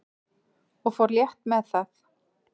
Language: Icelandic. og fór létt með það.